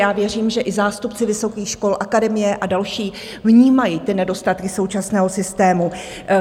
Já věřím, že i zástupci vysokých škol, Akademie a další vnímají ty nedostatky současného systému.